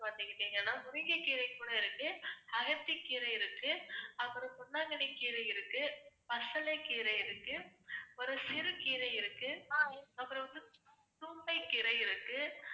பாத்துக்கிட்டீங்கன்னா முருங்கைக்கீரை கூட இருக்கு, அகத்திக்கீரை இருக்கு, அப்புறம் பொன்னாங்கண்ணிக் கீரை இருக்கு, பசலைக்கீரை இருக்கு, ஒரு சிறு கீரை இருக்கு, அப்புறம் வந்து தும்~ தும்பைகீரை இருக்கு.